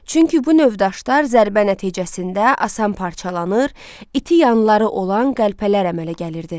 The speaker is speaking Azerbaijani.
Çünki bu növ daşlar zərbə nəticəsində asan parçalanır, iti yanları olan qəlpələr əmələ gəlirdi.